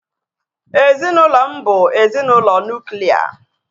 Ezinaụlọ m bu ezinaụlọ nuklia